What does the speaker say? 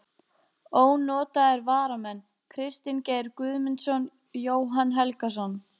Ónotaðir varamenn: Kristinn Geir Guðmundsson, Jóhann Helgason.